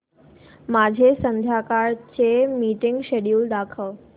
माझे संध्याकाळ चे मीटिंग श्येड्यूल दाखव